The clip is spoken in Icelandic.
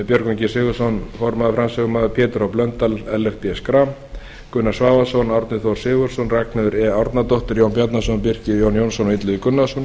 björgvin g sigurðsson formaður áfram pétur h blöndal ellert b schram gunnar svavarsson árni þór sigurðsson ragnheiður e árnadóttir jón bjarnason birkir j jónsson illugi gunnarsson